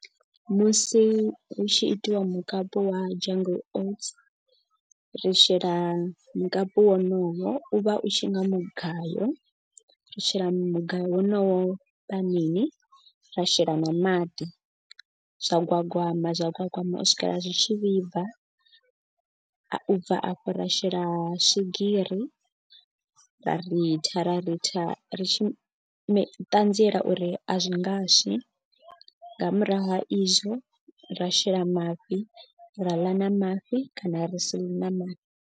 Musi hu tshi itiwa mukapu wa jungle oats ri shela mukapu wonoyo u vha u tshi nga mugayo. Ri shela mugayo wonowo panini ra shela na maḓi zwa gwagwama zwa gwagwama u swikela zwi tshi vhibva. U bva afho ra shela swigiri ra ritha ritha ri tshi ṱanzielwa uri a zwi ngaswi. Nga murahu ha izwo ra shela mafhi ra ḽa na mafhi kana ri si ḽe na mafhi.